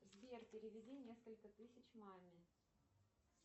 сбер переведи несколько тысяч маме